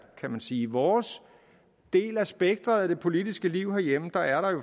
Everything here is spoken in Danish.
kan man sige i vores del af spektret i det politiske liv derhjemme